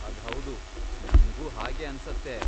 ಅದ್ ಹೌದು, ನಂಗೂ ಹಾಗೇ ಅನ್ಸತ್ತೆ.